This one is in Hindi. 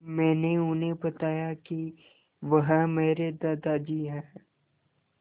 मैंने उन्हें बताया कि वह मेरे दादाजी हैं